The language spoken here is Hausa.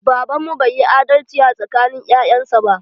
Baban mu bai yi adalci a tsakanin ƴaƴan sa ba.